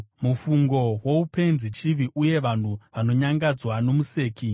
Mufungo woupenzi chivi, uye vanhu vanonyangadzwa nomuseki.